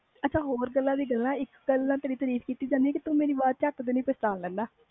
ਹੋਰ ਗੱਲਾਂ ਦੀਆ ਗੱਲਾਂ ਤੂੰ ਮੇਰੀ ਅਵਾਜ ਨੂੰ ਚਟ ਪਹਿਚਾਣ ਲੈਂਦਾ ਆ